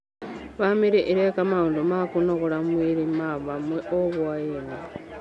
Bamĩrĩ ĩreka maũndũ ma kũnogora mwĩrĩ ma hamwe o hwainĩ